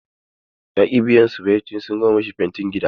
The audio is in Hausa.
Ya ƙi biyan su bayan sun gama mai fentin gida.